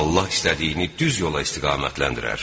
Allah istədiyini düz yola istiqamətləndirər.